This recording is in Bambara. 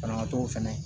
Banabaatɔw fɛnɛ